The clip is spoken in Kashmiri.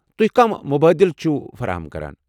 تُہۍ كم مُبٲدِل چھِو فراہم كران ؟